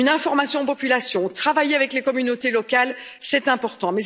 Une information de la population, le travail avec les communautés locales, c'est important.